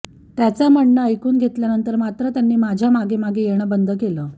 त्यांचं म्हणण ऐकून घेतल्यानंतर मात्र त्यांनी माझ्या मागेमागे येणं बंद केलं